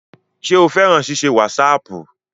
Ṣé o fẹ́ràn ṣíṣe wásaàpù?